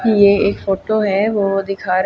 ये एक फोटो है वो दिखा--